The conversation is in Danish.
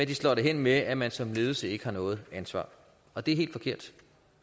de slår det hen med at man som ledelse ikke har noget ansvar og det er helt forkert